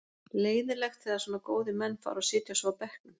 Leiðinlegt þegar svona góðir menn fara og sitja svo á bekknum.